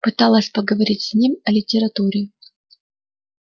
пыталась поговорить с ним о литературе